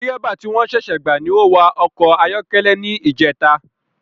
Dírẹ́bà ti wọ́n ṣẹṣẹ gbà ni o wa ọkọ̀ ayọ́kẹ́lẹ́ ni ijeta